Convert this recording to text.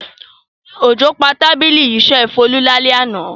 Òjò pa tábìlì iṣẹ́ Folú lálẹ́ àná.